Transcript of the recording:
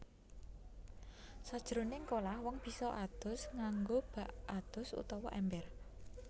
Sajroning kolah wong bisa adus nganggo bak adus utawa èmber